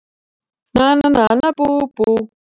Nana nana bú bú!